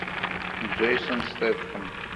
джейсон стэтхэм